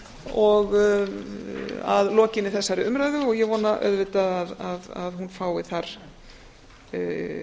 virðulegur forseti að lokinni þessari umræðu og ég vona auðvitað að hún fái þar